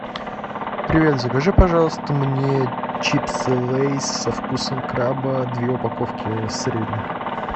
привет закажи пожалуйста мне чипсы лейс со вкусом краба две упаковки средних